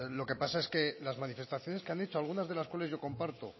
lo que pasa es que las manifestaciones que han hecho algunas de las cuales yo comparto